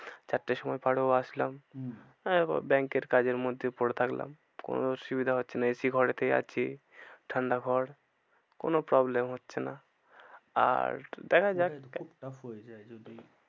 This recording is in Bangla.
চারটের সময় আসলাম হম bank এর কাজের মধ্যে পরে থাকলাম। কোনো অসুবিধা হচ্ছে না AC ঘরেতে আছি ঠান্ডা ঘর কোনো problem হচ্ছে না। আর দেখা যাক, খুব tough হয়ে যায় যদি